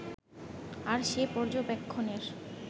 আর সেই পর্যবেক্ষণের